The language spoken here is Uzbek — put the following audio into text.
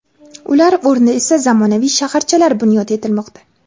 Ular o‘rnida esa zamonaviy shaharchalar bunyod etilmoqda.